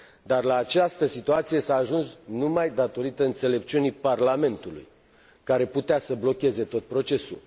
La această situație s a ajuns numai datorită înțelepciunii Parlamentului, care putea să blocheze tot procesul.